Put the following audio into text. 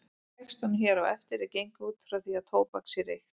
Í textanum hér á eftir er gengið út frá því að tóbak sé reykt.